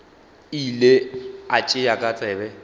ile a tšea ka tsebe